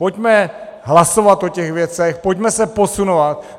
Pojďme hlasovat o těch věcech, pojďme se posunovat!